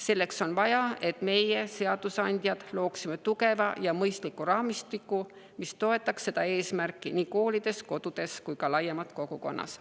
Selleks on vaja, et meie, seadusandjad, looksime tugeva ja mõistliku raamistiku, mis toetaks seda eesmärki nii koolides, kodudes kui ka laiemalt kogukonnas.